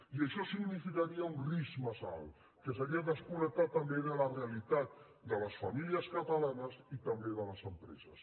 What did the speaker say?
i això significaria un risc massa alt que seria desconnectar també de la realitat de les famílies catalanes i també de les empreses